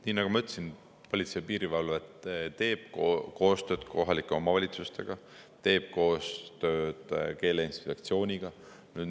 Nii nagu ma ütlesin, Politsei‑ ja Piirivalveamet teeb koostööd kohalike omavalitsustega, teeb koostööd keeleinspektsiooniga.